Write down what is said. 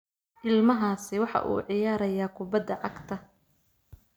Ilmahaasi waxa uu ciyaarayaa kubbadda cagta